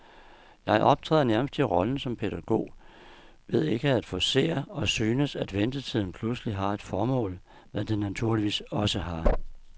Jeg optræder nærmest i rollen som pædagog ved ikke at forcere, og synes, at ventetiden pludselig har et formål, hvad den naturligvis også har.